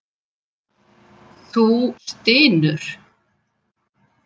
Þú stynur.